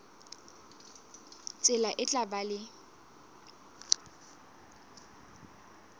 tsela e tla ba le